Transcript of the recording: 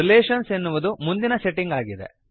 relations ಎನ್ನುವುದು ಮುಂದಿನ setting ಆಗಿದೆ